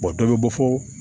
dɔ bɛ bɔ fo